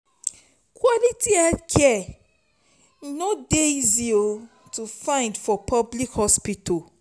quality healthcare e no dey easy to find for public hospital.